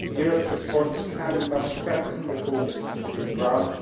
Europe's response can and must strengthen reformists within Iran.